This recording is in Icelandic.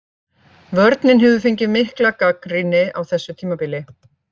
Vörnin hefur fengið mikla gagnrýni á þessu tímabili.